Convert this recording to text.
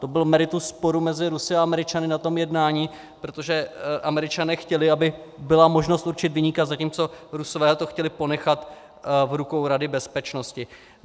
To bylo meritum sporu mezi Rusy a Američany na tom jednání, protože Američané chtěli, aby byla možnost určit viníka, zatímco Rusové to chtěli ponechat v rukou Rady bezpečnosti.